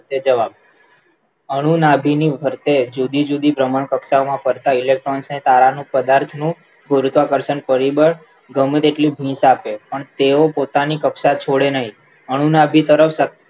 તે જવાય અનુ નાધીની ની ફરતે જુદીજુદી સમાન કક્ષામાં ફરતા election ને સમાન છે રૂપ કર્ષણ પરીબળ ગમે તેની સાથે તેવો પોતાની કક્ષા છોડે નહી અનુ નાધી સરસ